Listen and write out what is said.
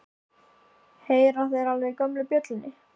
Heyra þeir alveg í gömlu bjöllunni?